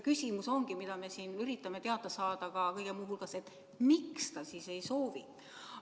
Küsimus ongi, mida me siin üritame teada saada kõige muu hulgas, et miks ta siis ei soovi.